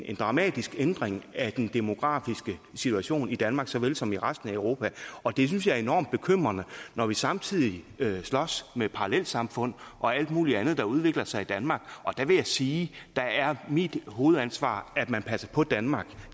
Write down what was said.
en dramatisk ændring af den demografiske situation i danmark såvel som i resten af europa og det synes jeg er enormt bekymrende når vi samtidig slås med parallelsamfund og alt muligt andet der udvikler sig i danmark og der vil jeg sige at der er mit hovedansvar at man passer på danmark